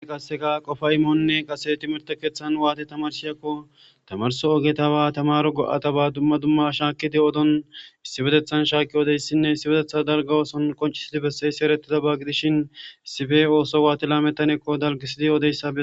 kasseka qofa imoonnne qase timirte keeththan waati tamarsiyakko tamarso ogeta ba tamaro go7ata ba dumma dumma shaakidi odon issipetethan shaakki odeyssinne issibetetha dalgawooson qoncisidi besseysi erettida ba gidishin issife ooso waati laametanekko dalgisidi yooodeyssa